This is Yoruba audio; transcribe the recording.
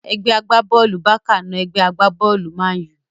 Ẹgbẹ́ agbá-bọ́ọ̀lù Bákà na ẹgbẹ́ agbá-bọ́ọ̀lù mánù